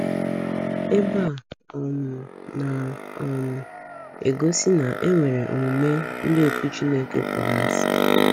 Ebe Ebe a um na um - egosi na e nwere omume ndị otú Chineke kpọrọ asị.